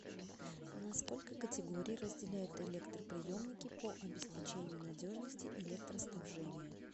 на сколько категорий разделяют электроприемники по обеспечению надежности электроснабжения